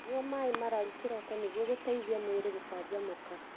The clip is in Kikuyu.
Nyua maĩ mararu kĩroko nĩguo gũteithia mwĩrĩ gũcanjamũka.